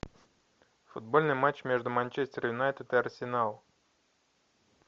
футбольный матч между манчестер юнайтед и арсенал